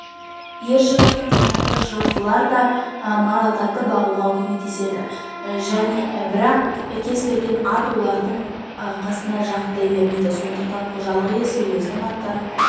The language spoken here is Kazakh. ер жігіттің қанаты жылқылар да маралдарды бағуға көмектеседі бірақ кез келген ат олардың қасына жақындай бермейді сондықтан қожалық иесі өзінің аттарын